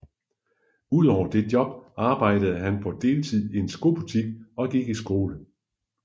Udover det job arbejdede han på deltid i en skobutik og gik i skole